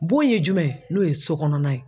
Bon ye jumɛn ye n'o ye sokɔnɔna ye.